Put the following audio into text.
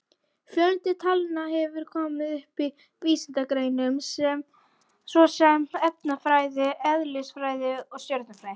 Fjöldi talna hefur komið upp í vísindagreinum svo sem efnafræði, eðlisfræði og stjörnufræði.